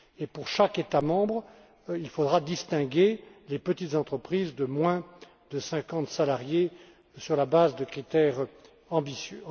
Pour chaque État membre, il faudra distinguer les petites entreprises de moins de cinquante salariés sur la base de critères ambitieux.